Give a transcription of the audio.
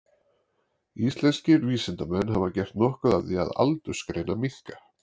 Íslenskir vísindamenn hafa gert nokkuð af því að aldursgreina minka.